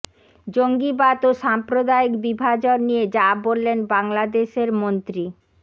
জঙ্গিবাদ ও সাম্প্রদায়িক বিভাজন নিয়ে যা বললেন বাংলাদেশের মন্ত্রী